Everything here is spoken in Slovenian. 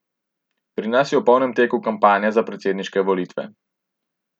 Pri nas je v polnem teku kampanja za predsedniške volitve.